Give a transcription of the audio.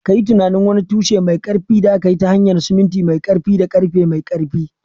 Ka yi tunanin wani tushe mai ƙarfi da aka yi ta hanyar siminti mai ƙarfi da ƙarfe mai ƙarfi